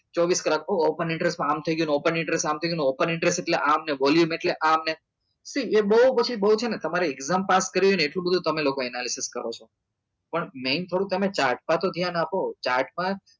ચોવીસ રાખો open interest માં આમ થઇ ગયું ને open interest માં આમ થઇ ગયું ને open interest એટલે આમ ને volume એટલે આમ ને સી એ બઉ પછી બઉ છે ને તમારે exam pass કરવી ને એટલું બધું તમે લોકો analysis કરો છો પણ main થોડુક તમે chart માં તો ધ્યાન આપો chart માં